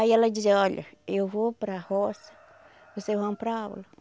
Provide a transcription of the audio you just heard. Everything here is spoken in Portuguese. Aí ela dizia, olha, eu vou para a roça, vocês vão para a aula.